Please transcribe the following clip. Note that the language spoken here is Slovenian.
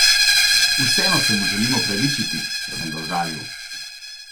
Vseeno se mu želim opravičiti, če sem ga užalil.